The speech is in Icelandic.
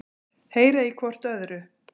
Heyra í hvort öðru.